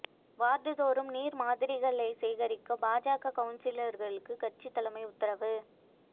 வாா்டுதோறும் நீா் மாதிரிகளைச் சேகரிக்க பாஜக கவுன்சிலா்களுக்கு கட்சி தலைமை உத்தரவு